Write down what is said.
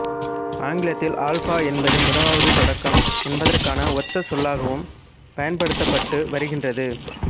ஆங்கிலத்தில் அல்ஃபா என்பது முதலாவது தொடக்கம் என்பதற்கான ஒத்த சொல்லாகவும் பயன்படுத்தப்பட்டு வருகின்றது